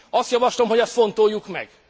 Azt javaslom, hogy ezt fontoljuk meg.